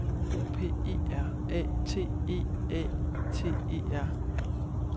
O P E R A T E A T E R